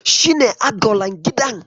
Shi ne agolan gidan?